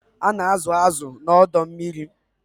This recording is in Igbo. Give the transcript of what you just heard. A na-azụ̀ azụ̀ na ọdọ mmiri.